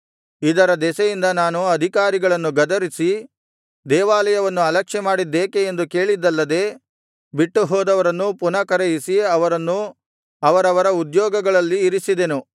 ಇದರ ದೆಸೆಯಿಂದ ನಾನು ಅಧಿಕಾರಿಗಳನ್ನು ಗದರಿಸಿ ದೇವಾಲಯವನ್ನು ಅಲಕ್ಷ್ಯ ಮಾಡಿದ್ದೇಕೆ ಎಂದು ಕೇಳಿದ್ದಲ್ಲದೆ ಬಿಟ್ಟು ಹೋದವರನ್ನು ಪುನಃ ಕರೆಯಿಸಿ ಅವರನ್ನು ಅವರವರ ಉದ್ಯೋಗಗಳಲ್ಲಿ ಇರಿಸಿದೆನು